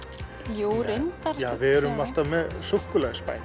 jú reyndar við erum alltaf með